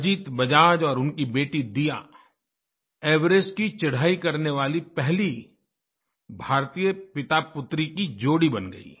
अजीत बजाज और उनकी बेटी दीयाएवरेस्ट की चढ़ाई करने वाली पहली भारतीय पितापुत्री की जोड़ी बन गयी